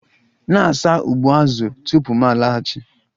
Na-asa ụgbụ azụ tupu m laghachi!